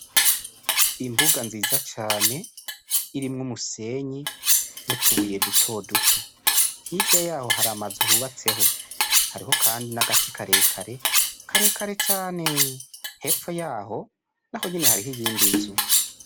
Imbuga nziza cane irimwo umusenyi n'utubuye dutoduto, hirya yaho hari amazu yubatseho hariho kandi n'agati karekare cane, hepfo yaho naho nyene hariyo iyindi nzu.